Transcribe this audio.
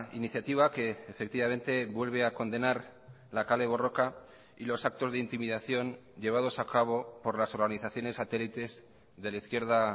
iniciativa que efectivamente vuelve a condenar la kale borroka y los actos de intimidación llevados a cabo por las organizaciones satélites de la izquierda